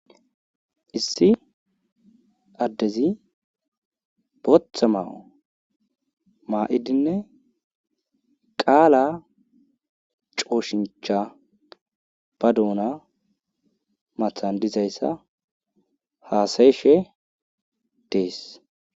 Issi addezi booththa ma'o ma'idinne qala cooshincha ba doona matan dizayssa hasayishe dees.